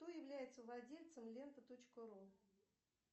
кто является владельцем лента точка ру